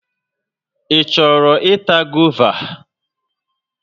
Ị chọrọ ịta gova?